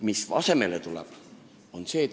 Mis asemele tuleb?